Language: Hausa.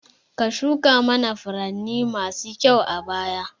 Ka shuka mana furanni masu kyau a baya